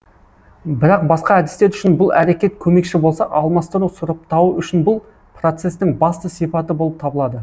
бірақ басқа әдістер үшін бұл әрекет көмекші болса алмастыру сұрыптауы үшін бұл процесстің басты сипаты болып табылады